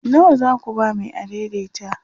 nawa zaku ba Mai adaidaita?